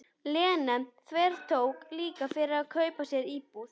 Lena þvertók líka fyrir að kaupa sér íbúð.